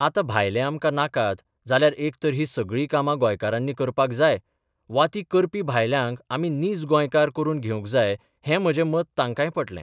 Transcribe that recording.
आतां भायले आमकां नाकात जाल्यार एक तर हीं सगळीं कामां गोंयकारांनी करपाक जाय वा ती करपी भायल्यांक आमी 'नीज गोंयकार 'करून घेवंक जाय हें म्हजें मत तांकांय पटलें.